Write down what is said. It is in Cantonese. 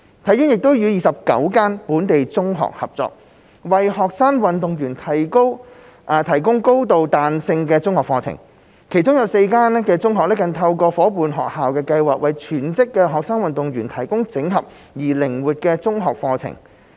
體院亦已與29間本地中學合作，為學生運動員提供高度彈性的中學課程，其中4間中學更透過夥伴學校計劃為全職學生運動員提供整合而靈活的中學課程。